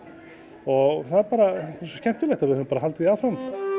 og það er bara svo skemmtilegt að við höfum bara haldið því áfram